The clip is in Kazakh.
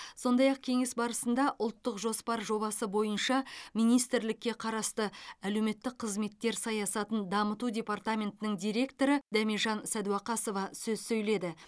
сондай ақ кеңес барысында ұлттық жоспар жобасы бойынша министрлікке қарасты әлеуметтік қызметтер саясатын дамыту департаментінің директоры дәмежан сәдуақасова сөз сөйледі